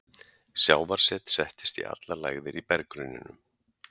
Sjávarset settist í allar lægðir í berggrunninum.